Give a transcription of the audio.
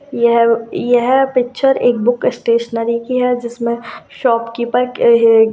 यह यह पिक्चर एक बुक स्टेशनरी की है जिसमे शॉपकिपर क ह --